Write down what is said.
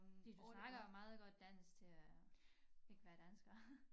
Fordi du snakker jo meget godt dansk til øh ikke være dansker